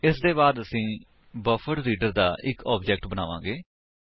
ਇਸਦੇ ਬਾਅਦ ਅਸੀ ਬਫਰਡਰੀਡਰ ਦਾ ਇੱਕ ਆਬਜੇਕਟ ਬਣਾਉਂਦੇ ਹਾਂ